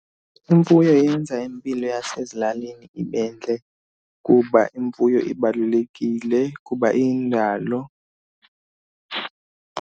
Imfuyo yenza impilo yasezilalini ibe ntle kuba imfuyo ibalulekile kuba iyindalo.